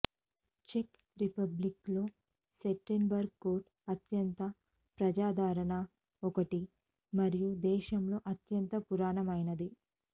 check Republic లో Sternberg కోట అత్యంత ప్రజాదరణ ఒకటి మరియు దేశంలో అత్యంత పురాతనమైనది